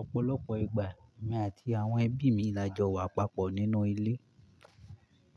Ọ̀pọ̀lọpọ̀ ìgbà èmi àti àwọn ẹbí mi la jọ wà papọ̀ nínú ilé.